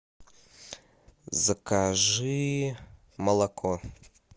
закажи молоко